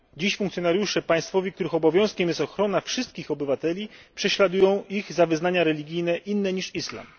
Dziś funkcjonariusze państwowi, których obowiązkiem jest ochrona wszystkich obywateli, prześladują ich za wyznania religijne inne niż islam.